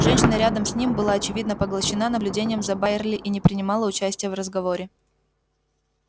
женщина рядом с ним была очевидно поглощена наблюдением за байерли и не принимала участия в разговоре